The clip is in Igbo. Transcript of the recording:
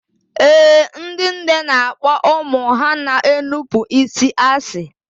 Ee, ndị nne na-akpọ ụmụ ha na-enupụ isi asị